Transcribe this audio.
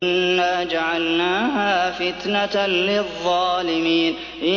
إِنَّا جَعَلْنَاهَا فِتْنَةً لِّلظَّالِمِينَ